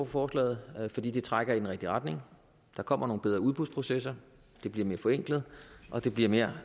forslaget fordi det trækker i den rigtige retning der kommer nogle bedre udbudsprocesser det bliver mere forenklet og det bliver mere